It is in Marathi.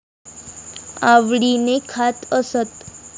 आवडीने खात असत.